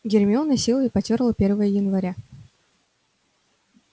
гермиона с силой потёрла первое января